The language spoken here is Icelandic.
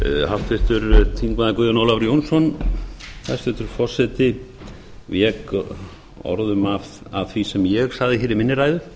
háttvirtir þingmenn guðjón ólafur jónsson hæstvirtur forseti vék orðum að því sem ég sagði hér í minni ræðu